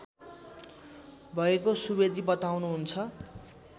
भएको सुवेदी बताँउनुहुन्छ